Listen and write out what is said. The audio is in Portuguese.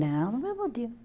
Não, no mesmo dia.